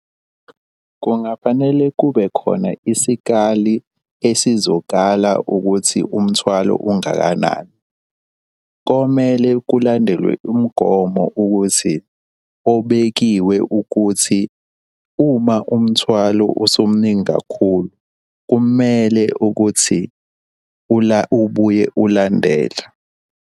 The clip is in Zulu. Kungafanele kube khona isikali esizokala ukuthi umthwalo ungakanani. Komele kulandelwe umgomo ukuthi obekiwe ukuthi uma umthwalo usumuningi kakhulu kumele ukuthi ubuye ulandelwe.